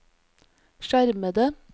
skjermede